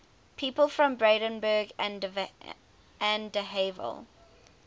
people from brandenburg an der havel